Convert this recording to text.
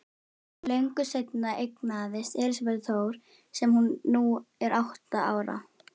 Löngu seinna eignaðist Elísabet Þór sem nú er átta ára.